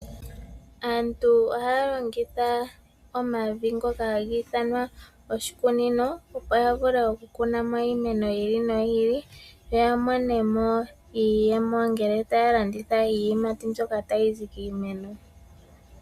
Aantu ohaya longitha omavi ngoka haga ithanwa oshikunino opo yavule okukuna mo iimeno yi ili noyi ili, yo yamone mo iiyemo ngele taya landitha iiyimati mbyoka tayizi kiimeno.